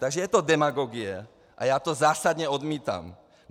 Takže je to demagogie a já to zásadně odmítám.